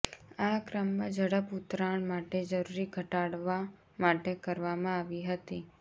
આ ક્રમમાં ઝડપ ઉતરાણ માટે જરૂરી ઘટાડવા માટે કરવામાં આવી હતી